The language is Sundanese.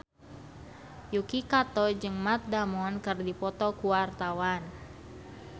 Yuki Kato jeung Matt Damon keur dipoto ku wartawan